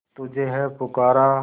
तुझे है पुकारा